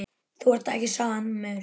Þú ert ekki samur.